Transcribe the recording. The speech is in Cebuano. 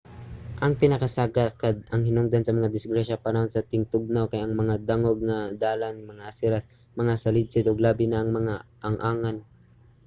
ang pinakasagad nga hinungdan sa mga disgrasya panahon sa tingtugnaw kay ang mga dangog nga dalan mga aseras mga salidsid ug labi na ang mga ang-angan